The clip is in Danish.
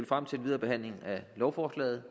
frem til en videre behandling af lovforslaget